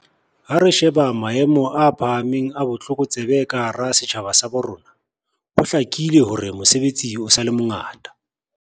Ha re sheba maemo a phahameng a botlokotsebe ka hara setjhaba sa bo rona, ho hlakile hore mosebetsi o sa le mongata.